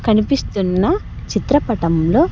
కనిపిస్తున్న చిత్రపటంలో.